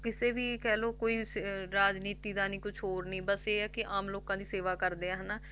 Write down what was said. ਕਿਸੇ ਵੀ ਕਹਿ ਲਓ ਕੋਈ ਸ~ ਰਾਜਨੀਤੀ ਦਾ ਨੀ, ਕੁਛ ਹੋਰ ਨੀ ਬਸ ਇਹ ਹੈ ਕਿ ਆਮ ਲੋਕਾਂ ਦੀ ਸੇਵਾ ਕਰਦੇ ਆ ਹਨਾ,